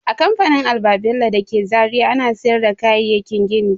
A kamfanin Alba-bello dake Zaria ana sayar da kayayyakin gini.